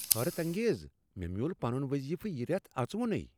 حیرت انگیز! مے٘ مِیول پنٗن وضیفہٕ یہ ریتھ اژوُنُے!